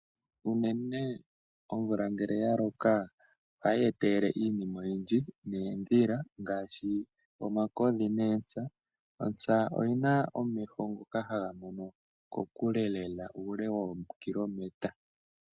Uunene ngele omvula ya loka ohayi etele iinima oyindji, needhila ngaashi omakodhi eeTsa. Otsa oyina omeho ngoka ha gamono ko kule lela uule woo kilometre.